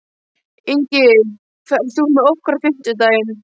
Ingi, ferð þú með okkur á fimmtudaginn?